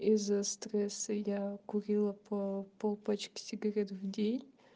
из-за стресса я курила по полпачки сигарет в день